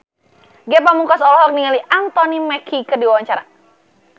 Ge Pamungkas olohok ningali Anthony Mackie keur diwawancara